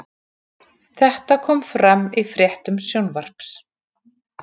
Þetta kom fram í fréttum Sjónvarps